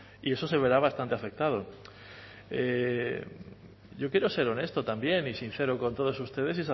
y eso se verá bastante afectado yo quiero ser honesto también y sincero con todos ustedes